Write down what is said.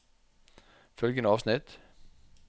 Følgende avsnitt